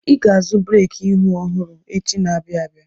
Ị ga-azụ breki ihu ọhụrụ echi na-abịa abịa!